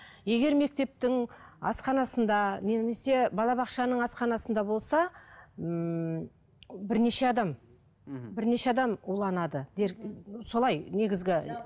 егер мектептің асханасында немесе балабақшаның асханасында болса ммм бірнеше адам мхм бірнеше адам уланады солай негізгі